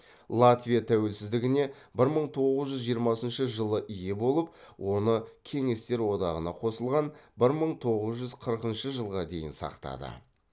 латвия тәуелсіздігіне бір мың тоғыз жүз жиырмасыншы жылы ие болып оны кеңестер одағына қосылған бір мың тоғыз жүз қырқыншы жылға дейін сақтады